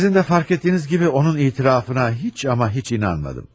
Sizin də fərq etdiyiniz kimi onun etirafına heç amma heç inanmadım.